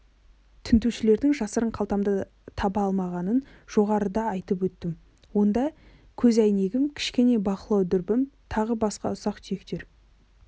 тінтушілердің жасырын қалтамды таба алмағанын жоғарыда айтып өттім онда көзәйнегім кішкене бақылау дүрбім тағы басқа ұсақ-түйектер